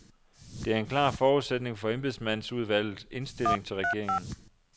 Det er en klar forudsætning for embedsmandsudvalget indstilling til regeringen.